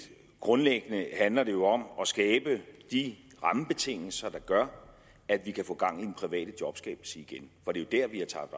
grundlæggende handler det jo om at skabe de rammebetingelser der gør at vi kan få gang i den private jobskabelse igen for det er der vi har tabt